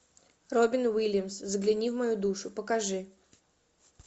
робин уильямс загляни в мою душу покажи